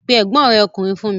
Pe ẹ̀gbọ́n rẹ̀ ọkùnrin fún mi!